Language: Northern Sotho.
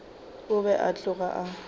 o be a tloga a